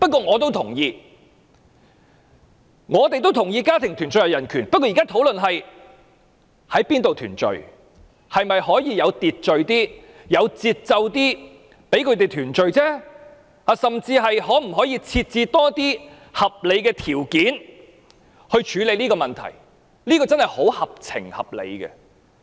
我也同意家庭團聚是人權，但現在討論的是在哪裏團聚，以及是否可以有秩序、有節奏一點讓他們團聚而已，甚至是否可以設置更多合理條件以處理這個問題，這真的非常合情合理。